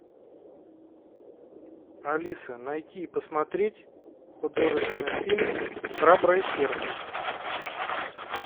алиса найти и посмотреть художественный фильм храброе сердце